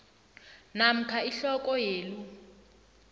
namkha ihloko yelu